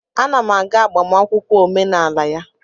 Ana m aga agbamakwụkwọ omenala ya